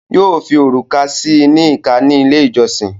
Yóò fi òrùka síi ní ìká ni ilé ìjọsìn